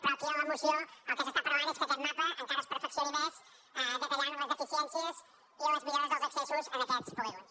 però aquí a la moció el que es parla és que aquest mapa encara es perfeccioni més detallant les deficiències i les millores dels accessos a aquests polígons